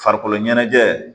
Farikolo ɲɛnajɛ